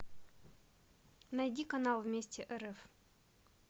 найди канал вместе рф